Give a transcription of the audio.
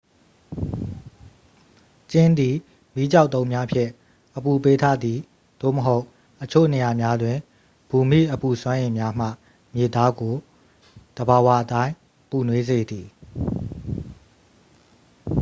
ကျင်းသည် မီးကျောက်တုံးများဖြင့် အပူပေးထားသည် သို့မဟုတ် အချို့နေရာများတွင် ဘူမိအပူစွမ်းအင်များမှ မြေသားကို သဘာဝအတိုင်းပူနွေးစေသည်